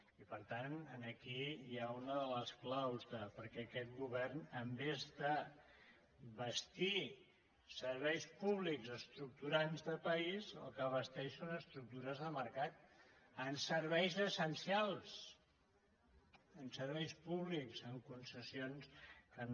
i per tant aquí hi ha una de les claus de per què aquest govern en comptes de bastir serveis públics estructurants de país el que basteix són estructures de mercat en serveis essencials en serveis públics en concessions que no